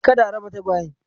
Kada a raba tagawyen.